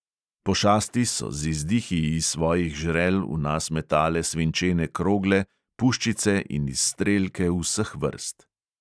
Pošasti so z izdihi iz svojih žrel v nas metale svinčene krogle, puščice in izstrelke vseh vrst.